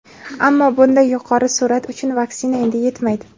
Ammo bunday yuqori sur’at uchun vaksina endi yetmaydi.